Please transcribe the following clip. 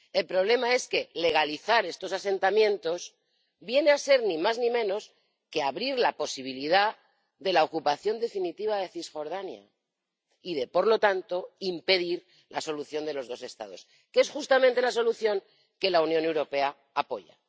El problema es que legalizar estos asentamientos viene a ser ni más ni menos que abrir la posibilidad de la ocupación definitiva de Cisjordania y de, por lo tanto, impedir la solución de los dos Estados, que es justamente la solución que la Unión Europea apoya.